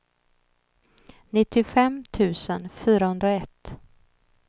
nittiofem tusen fyrahundraett